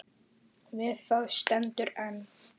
Við það stendur enn.